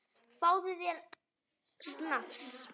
Fáðu þér snafs!